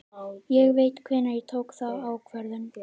Ég veit hvenær ég tók þá ákvörðun.